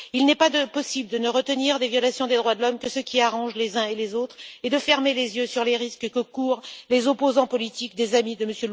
Il n'est pas possible de ne retenir, dans les violations des droits de l'homme, que celles qui arrangent les uns et les autres et de fermer les yeux sur les risques que courent les opposants politiques des amis de M.